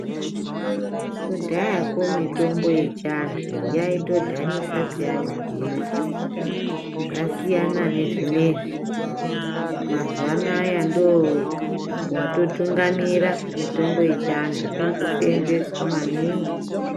Kudhayako mitombo yechiantu yaitodhanisa peyani kuimwa. Zvasiyana nezvinezvi, mazuwa anaya ndoo watotungamira mitombo yechiantu irikuseenzeswa maningi.